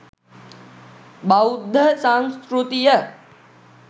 බෞද්ධ සංස්කෘතිය